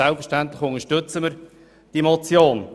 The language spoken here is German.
Ich bin nun schon acht Jahre in diesem Rat.